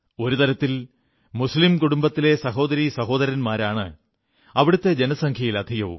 ഒരു തരത്തിൽ മുസ്ലീം കുടുംബത്തിലെ സഹോദരീ സഹോദരന്മാരാണ് അവിടെത്തെ ജനസംഖ്യയിൽ അധികവും